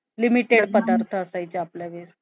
limited पदार्थ असायचं आपल्या वेळेस